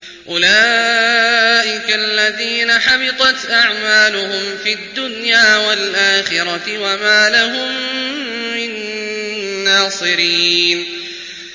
أُولَٰئِكَ الَّذِينَ حَبِطَتْ أَعْمَالُهُمْ فِي الدُّنْيَا وَالْآخِرَةِ وَمَا لَهُم مِّن نَّاصِرِينَ